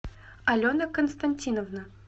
алена константиновна